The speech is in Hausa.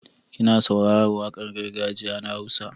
Kina saurarar waƙar gargajiya na Hausa?